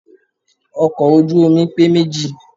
Ọkọ̀ ojú omi pé méjì.